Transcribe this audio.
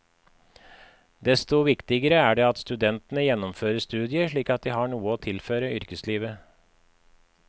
Desto viktigere er det at studentene gjennomfører studiet slik at de har noe å tilføre yrkeslivet.